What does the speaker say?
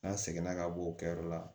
N'an seginna ka bɔ o kɛyɔrɔ la